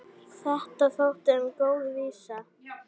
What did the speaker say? Það er engin saga.